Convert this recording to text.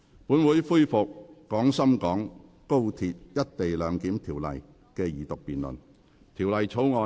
本會恢復《廣深港高鐵條例草案》的二讀辯論。